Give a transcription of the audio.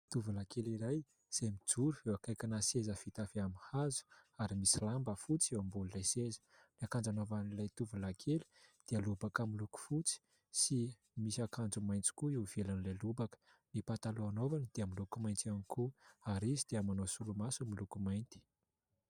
Tovolahy kely iray, izay mijoro eo akaikina seza vita avy amin'ny hazo ary misy lamba fotsy eo ambonin 'ilay seza. Ny akanjo anaovan'ilay tovolahy kely dia lobaka amin'ny loko fotsy sy misy akanjo maitso koa io ivelan'ilay lobaka, ny pataloha anaovany dia miloko maitso ihany koa ary izy dia manao solomaso miloko mainty.